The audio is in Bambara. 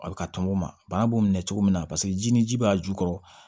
A bɛ kaŋɔ o ma bana b'o minɛ cogo min na paseke ji ni ji b'a jukɔrɔ